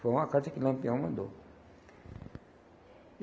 Foi uma carta que Lampião mandou.